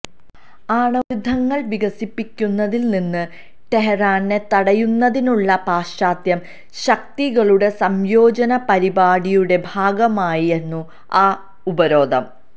ആണവായുധങ്ങൾ വികസിപ്പിക്കുന്നതിൽ നിന്ന് ടെഹ്റാനെ തടയുന്നതിനുള്ള പാശ്ചാത്യ ശക്തികളുടെ സംയോജിത പരിപാടിയുടെ ഭാഗമായിരുന്നു ആ ഉപരോധം